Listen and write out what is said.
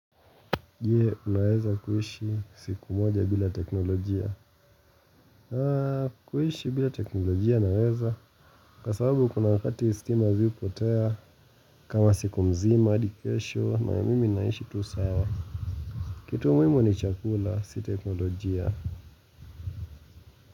Je, unaweza kuishi siku moja bila teknolojia. Kuishi bila teknolojia unaweza. Kwa sababu kuna wakati stima ziupotea. Kama siku mzima, adikesho, mayamimi naishi tu sawa. Kitu muimo ni chakula, si teknolojia.